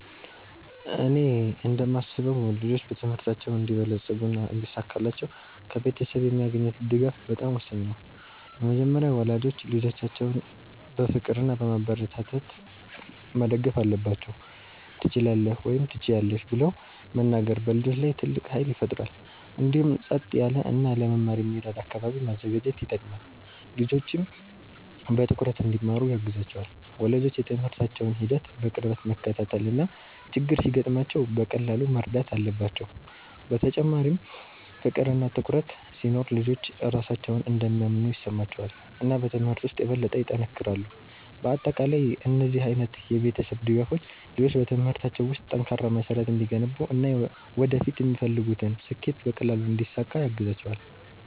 እኔ እንደማስበው ልጆች በትምህርታቸው እንዲበለጽጉና እንዲሳካላቸው ከቤተሰብ የሚያገኙት ድጋፍ በጣም ወሳኝ ነው። በመጀመሪያ ወላጆች ልጆቻቸውን በፍቅር እና በማበረታታት መደገፍ አለባቸው፤ “ትችላለህ” ወይም “ትችያለሽ ” ብለው መናገር በልጆች ላይ ትልቅ ኃይል ይፈጥራል። እንዲሁም ጸጥ ያለ እና ለመማር የሚረዳ አካባቢ ማዘጋጀት ይጠቅማል፣ ልጆችም በትኩረት እንዲማሩ ያግዛቸዋል። ወላጆች የትምህርታቸውን ሂደት በቅርበት መከታተል እና ችግር ሲገጥማቸው በቀላሉ መርዳት አለባቸው። በተጨማሪም ፍቅር እና ትኩረት ሲኖር ልጆች ራሳቸውን እንደሚያምኑ ይሰማቸዋል እና በትምህርት ውስጥ የበለጠ ይጠነክራሉ። በአጠቃላይ እነዚህ ዓይነት የቤተሰብ ድጋፎች ልጆች በትምህርታቸው ውስጥ ጠንካራ መሠረት እንዲገነቡ እና ወደፊት የሚፈልጉትን ስኬት በቀላሉ እንዲያሳኩ ያግዛቸዋል።